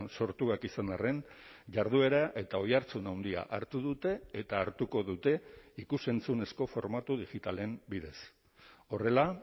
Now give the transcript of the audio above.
sortuak izan arren jarduera eta oihartzun handia hartu dute eta hartuko dute ikus entzunezko formatu digitalen bidez horrela